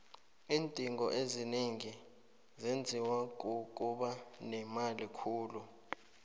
iindingo ezinengi zenziwa kukuba nemali khulu